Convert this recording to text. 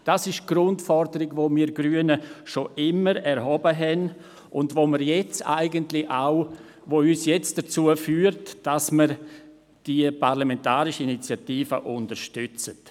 Dies ist die Grundforderung, die wir Grünen schon immer erhoben haben, die uns jetzt eigentlich dazu führt, die Parlamentarische Initiative zu unterstützen.